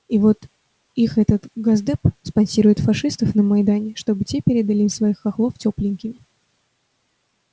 и вот их этот госдеп спонсирует фашистов на майдане чтобы те передали им своих хохлов тёпленькими